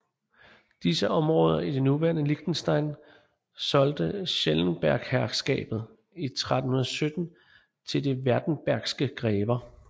Disse områder i det nuværende Liechtenstein solgte Schellenbergherskabet i 1317 til de werdenbergske grever